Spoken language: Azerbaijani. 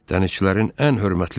Dənizçilərin ən hörmətlisidir.